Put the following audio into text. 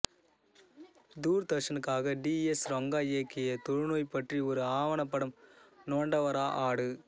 தூர்தர்ஷனுக்காக T S Ranga இயக்கிய தொழுநோய் பற்றி ஒரு ஆவணப்படம் நோண்டவரா ஹாடு